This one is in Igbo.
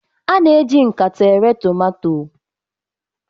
a na-eji nkata ere tomato